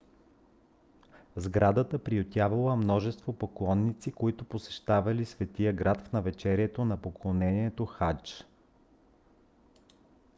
сградата приютявала множество поклонници които посещавали светия град в навечерието на поклонението хадж